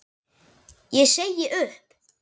Ég segi upp!